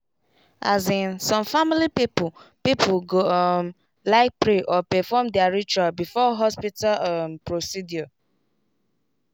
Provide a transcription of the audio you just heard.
as in some family people people go um like pray or perfom their ritual before hospital um procedure